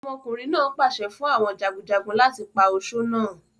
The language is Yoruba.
Ọmọkùnrin náà pàṣẹ fún àwọn jagunjagun, láti pa osó náà.